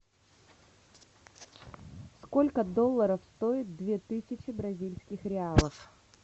сколько долларов стоит две тысячи бразильских реалов